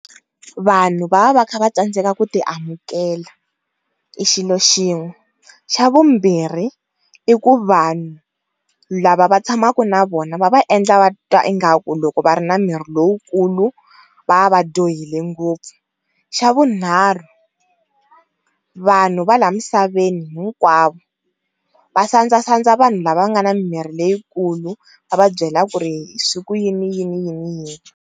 Vanhu va va va kha va tsandzeka ku ti amukela i xilo xin'we xa vumbirhi i ku vanhu lava va tshamaku na vona va va endla va titwa ingaku loko va ri na miri lowukulu va va dyohile ngopfu, xa vunharhu vanhu va la misaveni hinkwavo va sandzasandza vanhu lava nga na mimiri leyikulu va va byela ku ri swi ku yini yini yini.